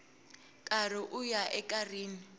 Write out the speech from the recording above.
karhi ku ya eka rin